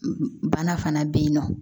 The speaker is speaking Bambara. Bana fana bɛ yen nɔ